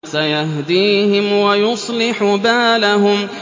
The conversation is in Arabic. سَيَهْدِيهِمْ وَيُصْلِحُ بَالَهُمْ